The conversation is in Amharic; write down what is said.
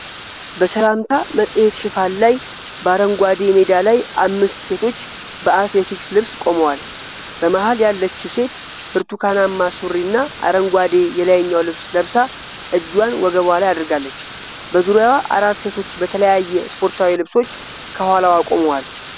በሰላምታ መጽሔት ሽፋን ላይ በአረንጓዴ ሜዳ ላይ አምስት ሴቶች በአትሌቲክስ ልብስ ቆመዋል። በመሃል ያለችው ሴት ብርቱካናማ ሱሪና አረንጓዴ የላይኛው ልብስ ለብሳ እጇን ወገቧ ላይ አድርጋለች። በዙሪያዋ አራት ሴቶች በተለያየ ስፖርታዊ ልብሶች ከኋላዋ ቆመዋል።